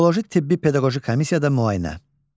Psixoloji-tibbi-pedaqoji komissiyada müayinə.